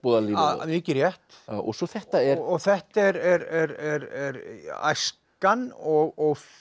verbúðalífið mikið rétt og svo þetta er og þetta er æskan og